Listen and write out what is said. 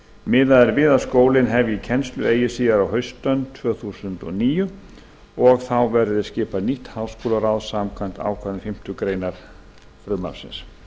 miðað er við að kennsla hefjist við skólann eigi síðar en á haustönn tvö þúsund og níu og þá verði skipað nýtt háskólaráð samkvæmt ákvæðum fimmtu grein frumvarpsins